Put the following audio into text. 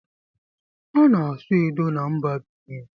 A na-asụ edo na mba Binin